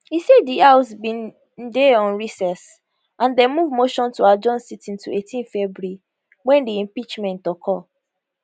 e say di house bin dey on recess and dem move motion to adjourn sitting to 18 february wen di impeachment occur